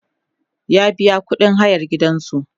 ya biya ƙuɗin hayan gidansu